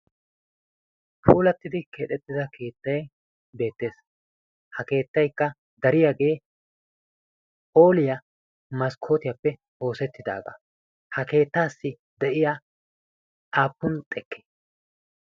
huulattidi keexettida keettay beettees ha keettaykka dariyaagee oliyaa maskkootiyaappe oosettidaagaa ha keettaassi de'iya apun xekke